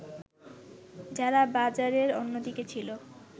যারা বাজারের অন্যদিকে ছিল